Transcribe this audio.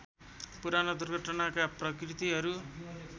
पुराना दुर्घटनाका प्रकृतिहरू